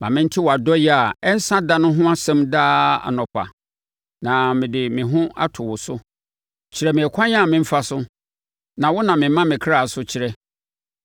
Ma mente wʼadɔeɛ a ɛnsa da no ho asɛm daa anɔpa, na mede me ho ato wo so. Kyerɛ me ɛkwan a memfa so, na wo na mema me kra so kyerɛ.